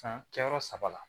San kɛyɔrɔ saba la